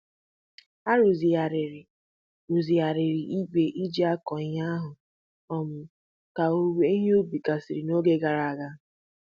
A rụzigharịrị rụzigharịrị igwe eji akọ ihe ahụ um ka owuwe ihe ubi gasịrị n'oge gara aga.